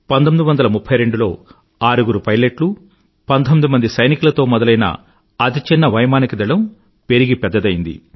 1932లో ఆరుగురు పైలట్లు 19 మంది సైనికులతో మొదలైన అతి చిన్న వైమానిక దళం పెరిగి పెద్దయ్యింది